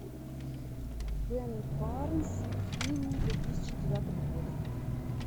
бен барнс фильм две тысячи девятого года